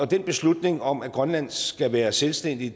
den beslutning om at grønland skal være selvstændig